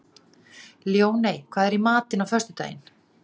Ljóney, hvað er í matinn á föstudaginn?